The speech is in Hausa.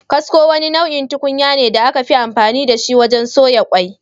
Kasko, wani nau’in tukunya ne da aka fi amfani da shi wajen soya kwai.